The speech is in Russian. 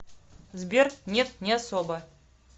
сбер нет не особо